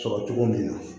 Sɔrɔ cogo min na